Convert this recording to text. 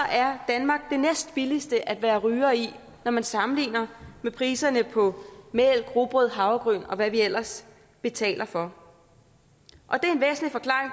er danmark det næstbilligste at være ryger i når man sammenligner med priserne på mælk rugbrød havregryn og hvad vi ellers betaler for